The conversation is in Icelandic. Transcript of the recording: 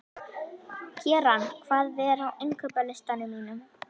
Keran, hvað er á innkaupalistanum mínum?